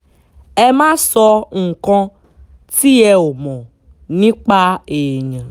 ẹ má sọ nǹkan tí ẹ ò mọ̀ nípa èèyàn